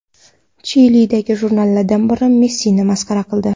Chilidagi jurnallardan biri Messini masxara qildi.